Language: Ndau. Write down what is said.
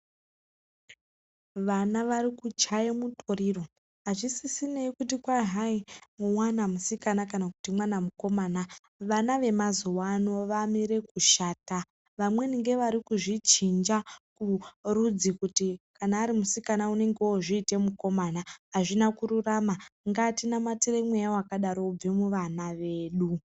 Vana varikuchaye mutoriro. Azvisisinei kuti kwai hai mwana musikana kana kuti mwana mukomana. Vana vemazuwano vamire kushata. Vamweni ngevari kuzvichinja rudzi kuti kana ari musikana unenge ozviita mukomana. Azvina kururama ,ngatinamatire mweya wakadaro ubve muvana vedu.